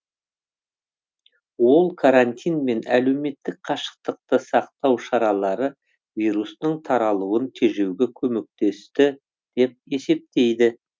ол карантин мен әлеуметтік қашықтықты сақтау шаралары вирустың таралуын тежеуге көмектесті деп есептейді